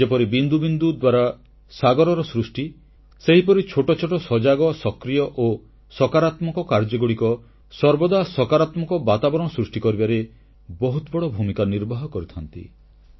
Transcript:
ଯେପରି ବିନ୍ଦୁବିନ୍ଦୁ ଦ୍ୱାରା ସାଗରର ସୃଷ୍ଟି ସେହିପରି ଛୋଟଛୋଟ ସଜାଗ ସକ୍ରିୟ ଓ ସକାରାତ୍ମକ କାର୍ଯ୍ୟଗୁଡ଼ିକ ସର୍ବଦା ସକାରାତ୍ମକ ବାତାବରଣ ସୃଷ୍ଟି କରିବାରେ ବହୁତ ବଡ଼ ଭୂମିକା ନିର୍ବାହ କରିଥାନ୍ତି